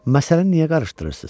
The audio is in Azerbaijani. Məsələni niyə qarışdırırsız?